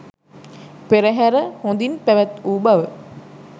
පෙරහැර හොඳින් පැවැත් වූ බව